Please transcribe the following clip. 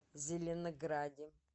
зеленограде